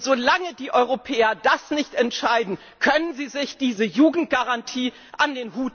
Und solange die Europäer das nicht entscheiden, können sie sich diese Jugendgarantie an